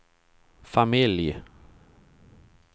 familj